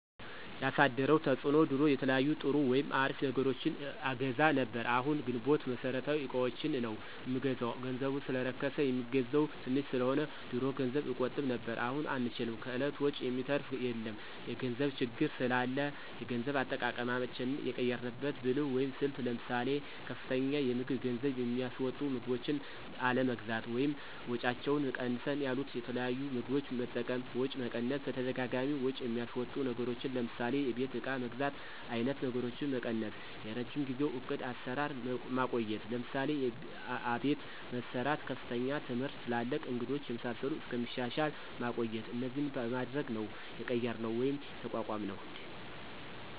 ያሳደረው ተፅዕኖ ድሮ የተለያዩ ጥሩ ወይም አሪፍ ነገሮችን አገዛ ነብር አሁን ግንቦት መሠረታዊ እቃዎችን ነው ምንገዛው ገንዘቡ ሰለረከስ የሚገዛው ተንሽ ሰለሆነ። ድሮ ገንዘብ እቆጥብ ነብር አሁን አንችልም ከእለት ወጭ የሚተራፍ የለም የገንዘብ ችግር ስላላ የገንዘብ አጠቃቀማችን የቀየራንበት ብልህት ወይም ስልት ለምሳሌ፦ ከፍተኛ የምግብ ገንዝብ የሚስወጡ ምግቦችን አለመግዛት ወይም ወጫቸው ቀነስ ያሉት የተለያዩ ምግቦች መጠቀም፣ ወጪ መቀነስ በተደጋጋሚ ወጭ የሚያስወጡ ነገሮችን ለምሳሌ የቤት እቃ መግዛት አይነት ነገሮችን መቀነሰ፣ የረጅም ጊዜው ዕቅድ አሰራር ማቆየት ለምሳሌ፦ አቤት መሰራት፣ ከፍተኛ ትምህርት ትላልቅ እንግዶች የመሳሰሉት እስከሚሻሻል ማቆየት እነዚህን በማድረግ ነው የቀየራነው ወይም የተቋቋምነውደ